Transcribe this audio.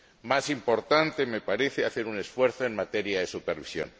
más importante me parece hacer un esfuerzo en materia de supervisión.